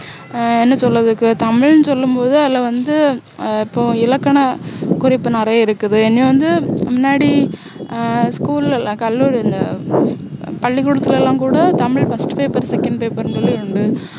ஆஹ் என்ன சொல்ல இதுக்கு தமிழ்னு சொல்லும் போது அதுல வந்து ஆஹ் இப்போ இலக்கண குறிப்பு நிறைய இருக்குது இன்னும் வந்து முன்னாடி ஆஹ் school லஎல்லாம் கல்லூரில பள்ளிகூடத்துல எல்லாம் கூட தமிழ் first paper second paper னு சொல்லி இருக்கு